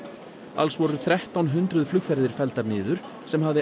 alls voru þrettán hundruð flugferðir felldar niður sem hafði